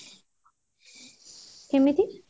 କେମିତି